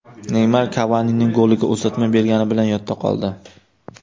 Neymar Kavanining goliga uzatma bergani bilan yodda qoldi.